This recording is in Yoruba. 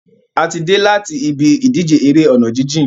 A ti dé láti ibi ìdíje eré ọ̀nà jíjìn.